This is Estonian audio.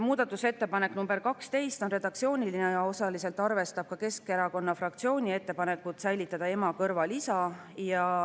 Muudatusettepanek nr 12 on redaktsiooniline ja osaliselt arvestab Keskerakonna fraktsiooni ettepanekut säilitada "ema" kõrval "isa".